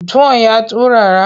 Tuwon ya turara?